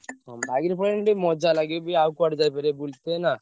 ହଁ bike ରେ ପଳେଇଲେ ଟିକେ ମଜା ଲାଗେ ବି ଆଉ କୁଆଡେ ଯାଇପାରିବା ~ବୁଲି ~ତେ ନା?